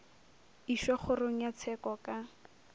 išwa kgorong ya tsheko ka